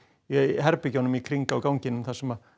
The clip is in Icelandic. herbergjunum í kring á ganginum þar sem